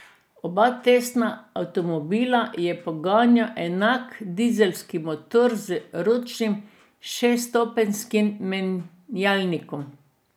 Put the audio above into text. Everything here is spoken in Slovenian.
Oba testna avtomobila je poganjal enak dizelski motor z ročnim šeststopenjskim menjalnikom.